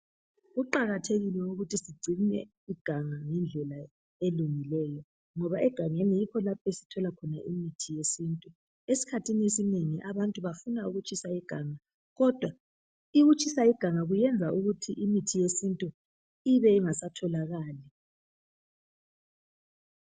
Kuqakathekile ukuthi sigcine iganga ngendlela elungileyo ngoba egangeni yikho lapho esithola khona imithi yesintu esikhathini esinengi abantu bafuna ukutshisa iganga kodwa ukutshisa iganga kuyenza ukuthi imithi yesintu ibe ingasatholakali.